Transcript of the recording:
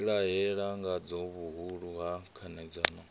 vhilahela ngadzo vhuhulu ha khanedzano